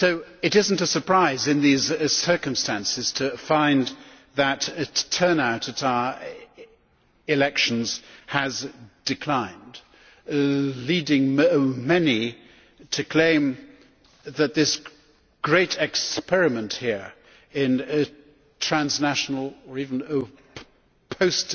It is not a surprise in these circumstances to find that turnout at our elections has declined, leading many to claim that this great experiment here in transnational or even post